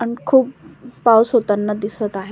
आणि खूप पाऊस होताना दिसत आहे.